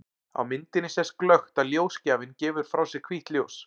Á myndinni sést glöggt að ljósgjafinn gefur frá sér hvítt ljós.